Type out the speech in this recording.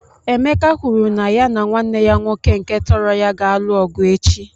Emeka kwuru na ya na nwanne ya nwoke nke tọrọ ya ga-alụ ọgụ echi.